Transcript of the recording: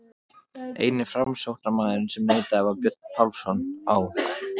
Eini framsóknarmaðurinn sem neitaði var Björn Pálsson á